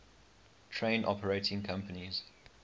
train operating companies